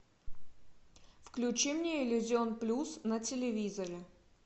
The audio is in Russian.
включи мне иллюзион плюс на телевизоре